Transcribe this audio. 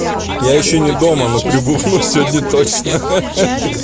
я ещё не дома но прибухну сегодня точно